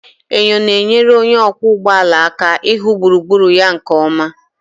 Enyo na-enyere onye ọkwọ ụgbọ ala aka ịhụ gburugburu ya nke ọma.